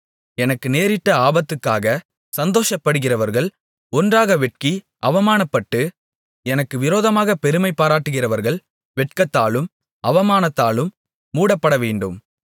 எனக்கு நேரிட்ட ஆபத்துக்காகச் சந்தோஷப்படுகிறவர்கள் ஒன்றாக வெட்கி அவமானப்பட்டு எனக்கு விரோதமாகப் பெருமைபாராட்டுகிறவர்கள் வெட்கத்தாலும் அவமானத்தாலும் மூடப்படவேண்டும்